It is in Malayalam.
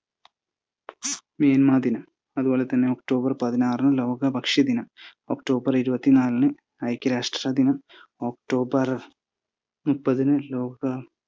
മിൽമദിനം, അതുപോലെതന്നെ ഒക്ടോബർ പതിനാറിന് ലോക ഭക്ഷ്യ ദിനം, ഒക്ടോബർ ഇരുപത്തിനാലിന് ഐക്യരാഷ്ട്ര ദിനം, ഒക്ടോബർ മുപ്പതിന് ലോക